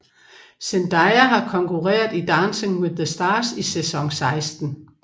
Zendaya har konkurreret i Dancing With The Stars i sæson 16